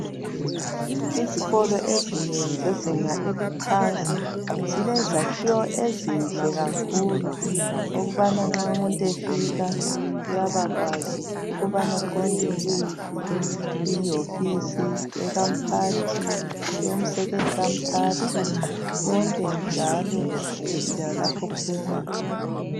Izikolo ezinengi zezinga eliphansi, zilezakhiwo, ezinhle kakhulu! Ukubana nxa umuntu efika, uyabakwazi ukubana uqonda kuyiphi ihofisi, ekamphathi, eyomsekeli kamphathi. Konke njalo, lalapho okubuzwa khona.